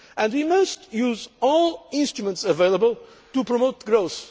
key. We must use all instruments available to promote growth.